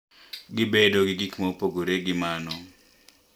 Gibedo gi gik ma opogore gi mano,